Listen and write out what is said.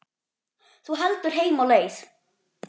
Þú heldur heim á leið.